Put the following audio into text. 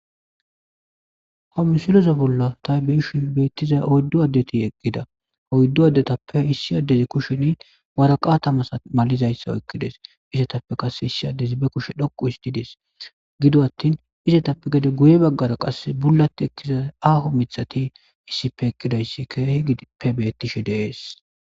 homu siloze bolla ta beishu beettiza oyddu addeti eqqida oyddu addetappe issi addezi kusheni waraqatamas malizayssa okkides isetappe qase issi addezi be kushe dhoqu histi dees gido attin izetappe gede guye baggara qasse bulat ekkiza aaho mithati issipe eqkidayssi keehi pe bettishe deees